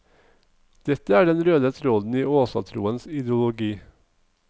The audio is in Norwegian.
Dette er den røde tråden i åsatroens ideologi.